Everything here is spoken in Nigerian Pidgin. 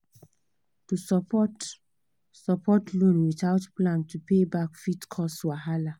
to support support loan without plan to pay back fit cause wahala